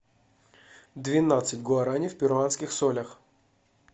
двенадцать гуарани в перуанских солях